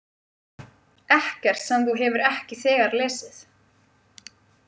Ekkert sem þú hefur ekki þegar lesið.